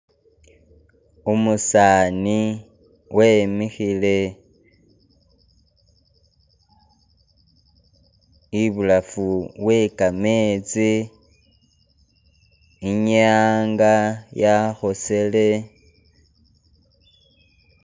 Umusaani wimikhile ibulafu we kametsi, inyanga, yakhosele...